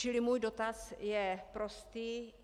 Čili můj dotaz je prostý.